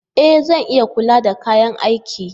E! Zan iya kula da kayan aikin.